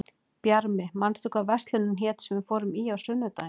Bjarmi, manstu hvað verslunin hét sem við fórum í á sunnudaginn?